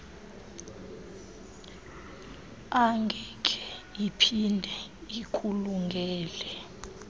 angeke iphinde ikulungele